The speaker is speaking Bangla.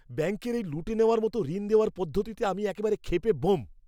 ব্যাঙ্কের এই লুটে নেওয়ার মতো ঋণ দেওয়ার পদ্ধতিতে আমি একেবারে ক্ষেপে ব্যোম।